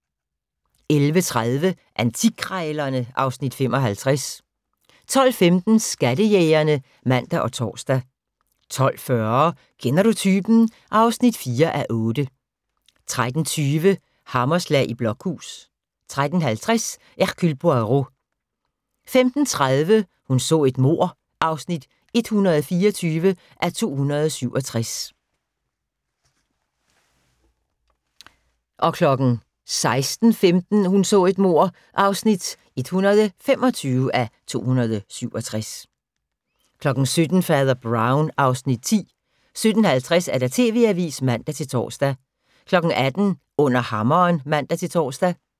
11:30: Antikkrejlerne (Afs. 55) 12:15: Skattejægerne (man og tor) 12:40: Kender du typen? (4:8) 13:20: Hammerslag i Blokhus 13:50: Hercule Poirot 15:30: Hun så et mord (124:267) 16:15: Hun så et mord (125:267) 17:00: Fader Brown (Afs. 10) 17:50: TV-avisen (man-tor) 18:00: Under hammeren (man-tor)